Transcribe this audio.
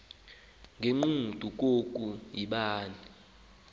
ngegqudu koko yibani